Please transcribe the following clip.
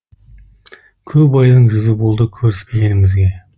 көп айдың жүзі болды көріспегенімізге